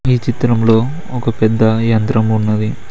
ఈ చిత్రంలో ఒక పెద్ద యంత్రం ఉన్నది.